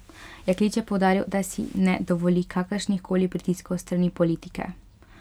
Jaklič je poudaril, da si ne dovoli kakršnih koli pritiskov s strani politike.